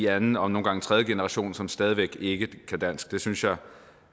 anden og nogle gange tredje generation som stadig væk ikke kan dansk det synes jeg